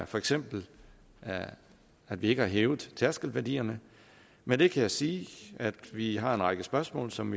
for eksempel at vi ikke har hævet tærskelværdierne med det kan jeg sige at vi har en række spørgsmål som